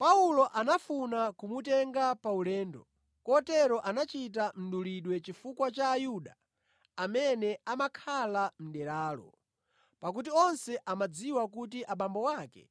Paulo anafuna kumutenga pa ulendo, kotero anachita mdulidwe chifukwa cha Ayuda amene amakhala mʼderalo pakuti onse amadziwa kuti abambo ake